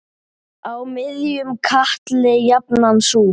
Á miðjum katli jafnan sú.